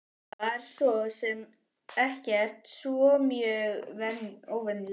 Það var svo sem ekkert svo mjög óvenjulegt.